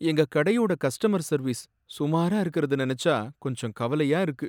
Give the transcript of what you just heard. எங்க கடையோட customer service சுமாரா இருக்கறத நினைச்சா கொஞ்சம் கவலையா இருக்கு.